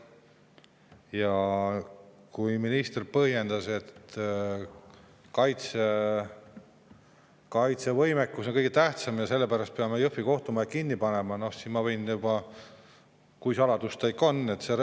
Ja kui minister põhjendas, et kaitsevõimekus on kõige tähtsam ja sellepärast peame Jõhvi kohtumaja kinni panema, siis ma võin öelda – kui suur saladus see ikka on?